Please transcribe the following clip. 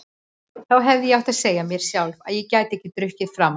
Þá hefði ég átt að segja mér sjálf að ég gæti ekki drukkið framar.